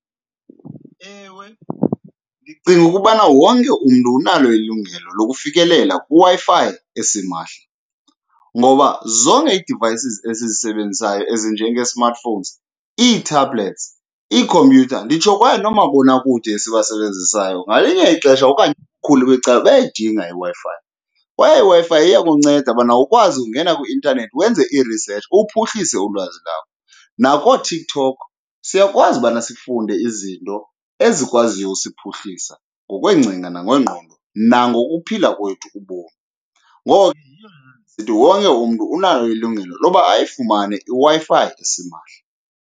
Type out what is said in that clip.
Ewe, ndicinga ukubana wonke umntu unalo ilungelo lokufikelela kwiWi-Fi esimahla, ngoba zonke ii-devices esizisebenzisayo ezinjengee-smartphones, ii-tablets, iikhompyutha, nditsho kwaye noomabonakude esibasebenzisayo ngelinye ixesha okanye ubukhulu becala bayayidinga iWi-Fi. Kwaye iWi-Fi iyakunceda ubana ukwazi ukungena kwi-intanethi wenze irisetshi uphuhlise ulwazi lakho. NakooTikTok siyakwazi ubana sifunde izinto ezikwaziyo usiphuhlisa ngokweencinga nangengqondo, nangokuphila kwethu ubomi. Ngoko ke yiyo le nto ndisithi wonke umntu unalo ilungelo loba ayifumane iWi-Fi esimahla.